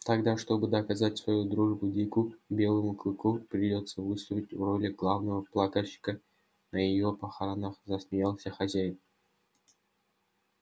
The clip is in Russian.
тогда чтобы доказать свою дружбу дику белому клыку придётся выступить в роли главного плакальщика на её похоронах засмеялся хозяин